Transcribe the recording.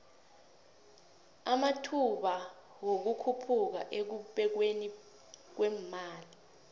amathba wikukhuphuka ekubekweni kwemali